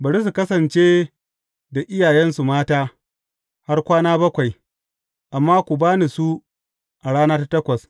Bari su kasance da iyayensu mata, har kwana bakwai, amma ku ba ni su a rana ta takwas.